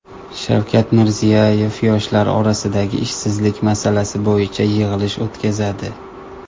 Shavkat Mirziyoyev yoshlar orasidagi ishsizlik masalasi bo‘yicha yig‘ilish o‘tkazadi.